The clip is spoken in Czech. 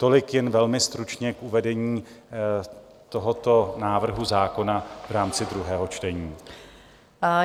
Tolik jen velmi stručně k uvedení tohoto návrhu zákona v rámci druhého čtení.